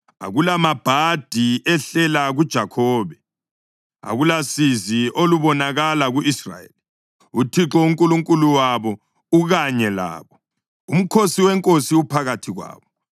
Akulamabhadi ehlela kuJakhobe, akulasizi olubonakala ku-Israyeli. UThixo uNkulunkulu wabo ukanye labo; umkhosi weNkosi uphakathi kwabo.